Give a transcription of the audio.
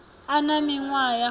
a na miṅwaha ya fumi